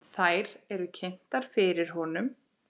Þær eru kynntar fyrir honum.